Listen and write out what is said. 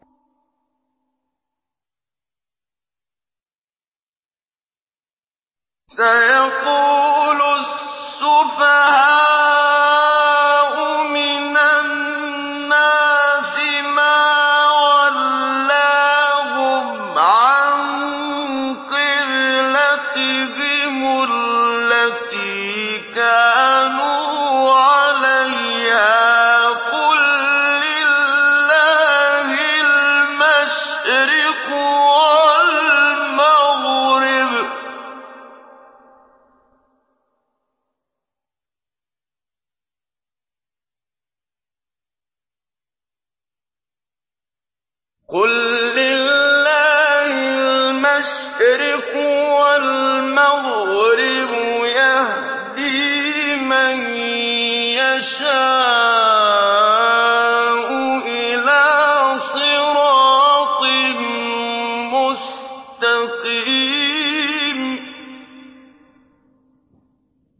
۞ سَيَقُولُ السُّفَهَاءُ مِنَ النَّاسِ مَا وَلَّاهُمْ عَن قِبْلَتِهِمُ الَّتِي كَانُوا عَلَيْهَا ۚ قُل لِّلَّهِ الْمَشْرِقُ وَالْمَغْرِبُ ۚ يَهْدِي مَن يَشَاءُ إِلَىٰ صِرَاطٍ مُّسْتَقِيمٍ